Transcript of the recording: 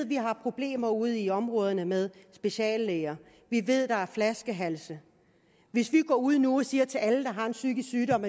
vi har problemer ude i områderne med speciallæger vi ved der er flaskehalse hvis vi går ud nu og siger til alle der har en psykisk sygdom